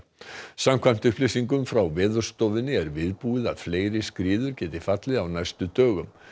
samkvæmt upplýsingum frá Veðurstofunni er viðbúið að fleiri skriður geti fallið á næstu dögum